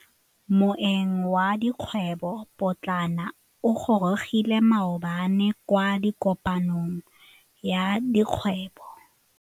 Moêng wa dikgwêbô pôtlana o gorogile maabane kwa kopanong ya dikgwêbô.